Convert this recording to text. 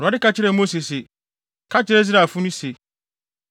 Awurade ka kyerɛɛ Mose se, “Ka kyerɛ Israelfo no se,